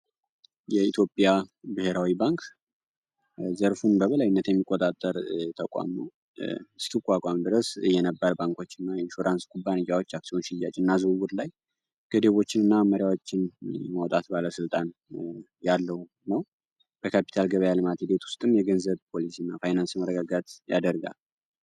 የኢትዮጵያ ብሔራዊ ባንክ ዘርፉን በበላይነት የሚቆጣጠር ተቋም ነው እስኪቋቋም ድረስ የኢንሹራንስ ኩባንያዎች ሽያጭና ዝውውር ገደብ ላይ የማውጣት ባለስልጣን ያለው ነው የካፒታል ገበያ ልማት ውስጥም የገበያ መረጋጋትን ያደርጋል።